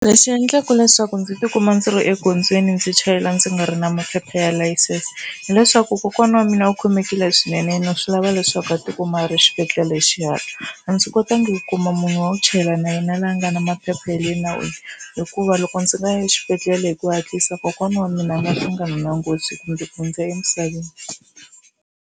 Lexi endlaka leswaku ndzi tikuma ndzi ri egondzweni ndzi chayela ndzi nga ri na maphepha ya layisense hileswaku kokwana wa mina u khomekile swinene na swi lava leswaku a tikuma a ri exibedhlele hi xihatla. A ndzi kotangi ku kuma munhu wa ku chayela na yena laha a nga na maphepha ya le nawini hikuva loko ndzi nga ya exibedhlele hi ku hatlisa kokwana wa mina a nga hlangana na nghozi kumbe ku hundza emisaveni.